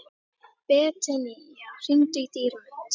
Betanía, hringdu í Dýrmund.